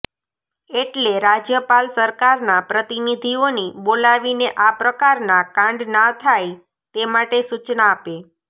એટલે રાજ્યપાલ સરકારના પ્રતિનિધિઓની બોલાવીને આ પ્રકારના કાંડ ના થાય તે માટે સૂચના આપે